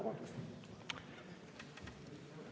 Vabandust!